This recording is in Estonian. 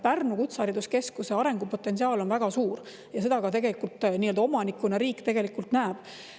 Pärnumaa Kutsehariduskeskuse arengupotentsiaal on väga suur ja seda riik nii-öelda omanikuna tegelikult ka näeb.